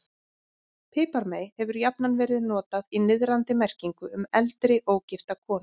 Piparmey hefur jafnan verið notað í niðrandi merkingu um eldri, ógifta konu.